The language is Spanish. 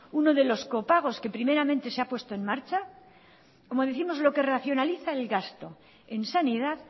uno de los copagos que primeramente se ha puesto en marcha como décimos lo que racionaliza el gasto en sanidad